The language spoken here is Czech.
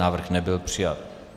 Návrh nebyl přijat.